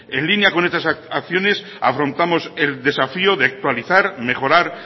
en línea con estas acciones afrontamos el desafío de actualizar mejorar